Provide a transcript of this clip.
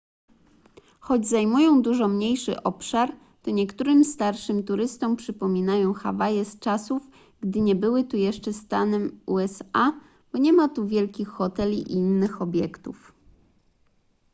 choć zajmują dużo mniejszy obszar to niektórym starszym turystom przypominają hawaje z czasów gdy nie były jeszcze stanem usa bo nie ma tu wielkich hoteli i innych obiektów